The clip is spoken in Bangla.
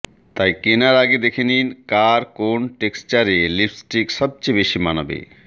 তাই কেনার আগে দেখে নিন কার কোন টেক্সচারে লিপস্টিক সবচেয়ে বেশি মানাবে